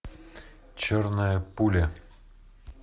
черная пуля